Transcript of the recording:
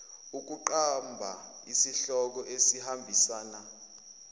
ukuqamba isihloko esihambisana